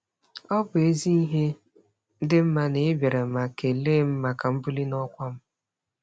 Ọ bụ ezi ihe dị mma na ị bịara ma kelee m maka mbuli n'ọkwa m.